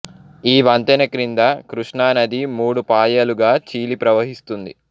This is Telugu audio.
ఈ వంతెన క్రింద కృష్ణానది మూడు పాయలుగా చీలి ప్రవహిస్తుంది